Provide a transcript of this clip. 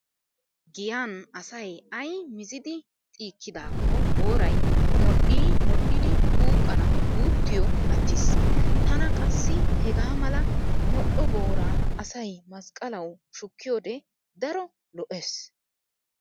Giyan asay ay mizidi xiikkidaakko booray modhdhii modhdhidi xuuqqannawu guuttiyo attiis. Tana qassi hegaa mala modhdho booraa asay masqqalawu shukkiyode daro lo'ees.